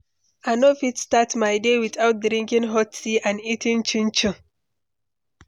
I no fit start my day without drinking hot tea and eating chinchin.